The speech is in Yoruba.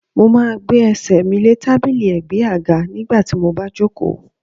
Mo máa gbé Ẹsẹ̀ mi lé tábìlì ẹ̀gbẹ́ àga nígbà tí mo bá jòkó.